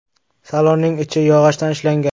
Salonning ichi yog‘ochdan ishlangan.